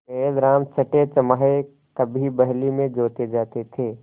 बैलराम छठेछमाहे कभी बहली में जोते जाते थे